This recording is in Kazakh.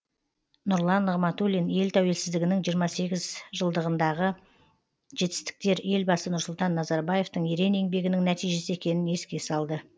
нұрлан нығматулин ел тәуелсіздігінің жиырма сегіз жылындағы жетістіктер елбасы нұрсұлтан назарбаевтың ерен еңбегінің нәтижесі екенін еске салды